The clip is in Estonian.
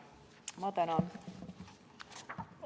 Ma tänan!